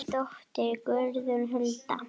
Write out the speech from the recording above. Þín dóttir Guðrún Hulda.